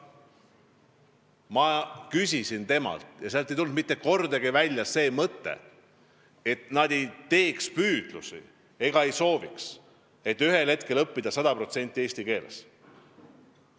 Ma küsisin temalt toimunu kohta ja sealt ei tulnud välja, et nad ei tee püüdlusi ega soovi ühel hetkel õppida sada protsenti eesti keeles.